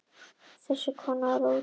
Þessi kona var óútreiknanleg.